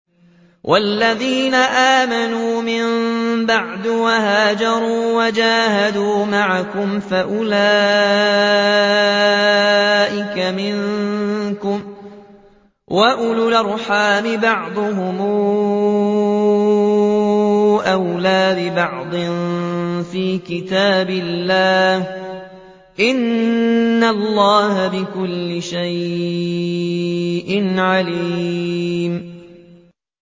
وَالَّذِينَ آمَنُوا مِن بَعْدُ وَهَاجَرُوا وَجَاهَدُوا مَعَكُمْ فَأُولَٰئِكَ مِنكُمْ ۚ وَأُولُو الْأَرْحَامِ بَعْضُهُمْ أَوْلَىٰ بِبَعْضٍ فِي كِتَابِ اللَّهِ ۗ إِنَّ اللَّهَ بِكُلِّ شَيْءٍ عَلِيمٌ